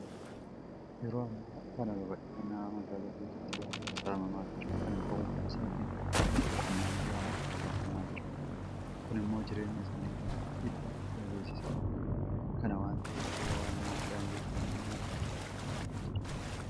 Yeroo ammaa kana babal'ifannaa magaalaatiin lafti baadiyyaa saamamaa jira. Kana ta'uu isaatiin lafti qonnaan bulaa harkaa baafamaa jira. Kun immoo jireenya isaanii irratti dhiibbaa guddaa geessisaa jira. Kana waanta ta'eef yeroo ammaa daangeffamni magaalaa mirkanaa'aa jira.